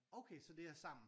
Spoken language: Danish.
Okay så det er sammen